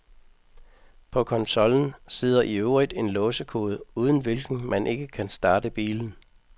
På konsollen sidder i øvrigt en låsekode, uden hvilken man ikke kan starte bilen.